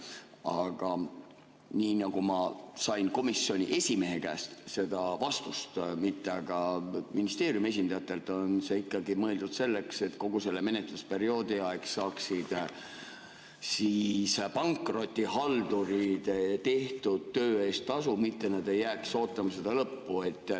Aga nii nagu ma sain vastuse komisjoni esimehe käest, mitte aga ministeeriumi esindajatelt, on ikkagi mõeldud, et kogu selle menetlusperioodi aja saaksid pankrotihaldurid tehtud töö eest tasu, nad ei jääks ootama seda lõppu.